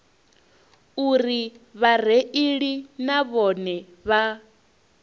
uri vhareili na vhone vha